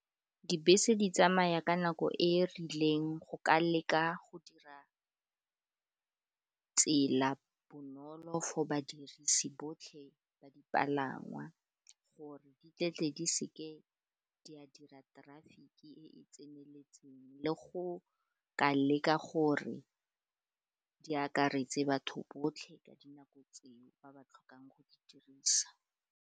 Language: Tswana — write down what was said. Dibese di tsamaya ka nako e e rileng go ka leka go dira tsela bonolo for badirisi botlhe ba dipalangwa gore di tletle di seke di a dira traffic-e e e tseneletseng, le go ka leka gore di akaretse batho botlhe ka dinako tseo, ba ba tlhokang go di dirisa.